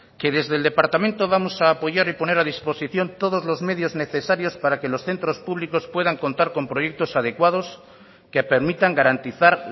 que desde el departamento vamos a apoyar y poner a disposición todos los medios necesarios para que los centros públicos puedan contar con proyectos adecuados que permitan garantizar